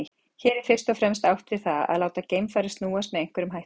Hér er fyrst og fremst átt við það að láta geimfarið snúast með einhverjum hætti.